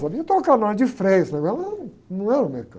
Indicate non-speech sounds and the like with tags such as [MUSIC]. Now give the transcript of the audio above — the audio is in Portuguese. Eu sabia trocar [UNINTELLIGIBLE] de freio, só que eu não era um, não era um mecânico.